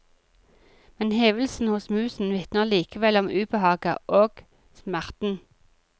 Men hevelsen hos musen vitner likevel om ubehaget og smerten.